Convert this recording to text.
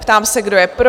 Ptám se, kdo je pro?